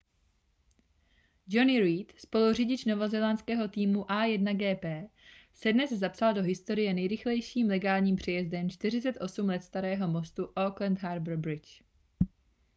jonny reid spoluřidič novozélandského týmu a1gp se dnes zapsal do historie nejrychlejším legálním přejezdem 48 let starého mostu auckland harbour bridge